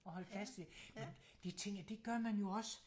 At holde fast i men det tænker jeg det gør man jo også